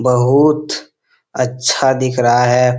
बहुत अच्छा दिख रहा है।